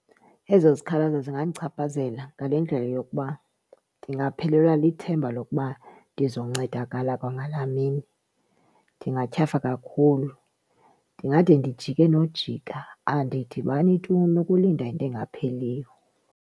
Ezo zikhalazo zingandichaphazela ngale ndlela yokuba ndingaphelelwa lithemba lokuba ndizoncedakala kwangalaa mini, ndingathyafa kakhulu ndingade ndijike nojika, andidibani tu nokulinda into engapheliyo.